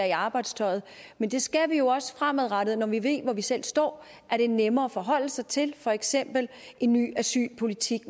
i arbejdstøjet men det skal vi også fremadrettet når vi ved hvor vi selv står er det nemmere at forholde sig til for eksempel en ny asylpolitik